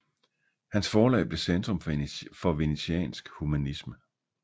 Hans forlag blev centrum for venetiansk humanisme